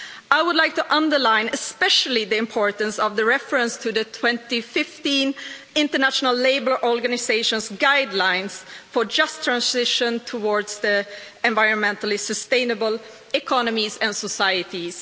I would like to underline the importance of the reference to the 2015 International Labour Organization's guidelines for a just transition towards environmentally sustainable economies and societies.